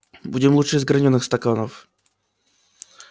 будем лучше из гранёных стаканов